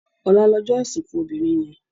Òlá lòjò isinkú óbirin yèn